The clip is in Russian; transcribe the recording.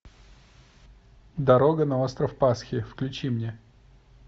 дорога на остров пасхи включи мне